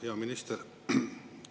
Hea minister!